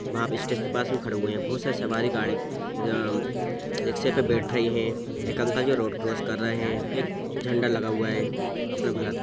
वहाँ स्टेशन के पास खड़े हुए है बहुत सारे सवारी गाड़ी अ-अ-म-म रिक्शे पे बैठ रही है | एक अंकल जी रोड क्रॉस कर रहे है एक झण्डा लगा हुआ है अपने भारत का |